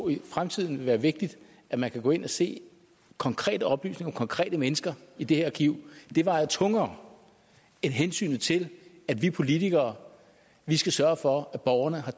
i fremtiden vil være vigtigt at man kan gå ind og se konkrete oplysninger om konkrete mennesker i det her arkiv vejer tungere end hensynet til at vi politikere skal sørge for at borgerne har